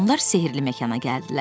Onlar sehirli məkana gəldilər.